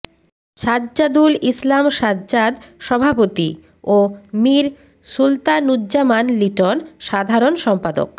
সাজ্জাদুল ইসলাম সাজ্জাদ সভাপতি ও মীর সুলতানুজ্জামান লিটন সাধারণ সম্পাদক